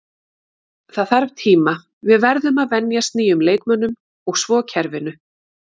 Það þarf tíma, við verðum að venjast nýjum leikmönnum og svo kerfinu.